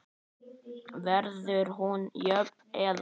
Verður hún jöfn eða?